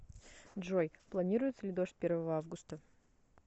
джой планируется ли дождь первого августа